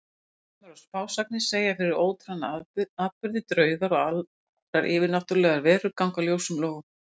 Draumar og spásagnir segja fyrir óorðna atburði, draugar og aðrar yfirnáttúrlegar verur ganga ljósum logum.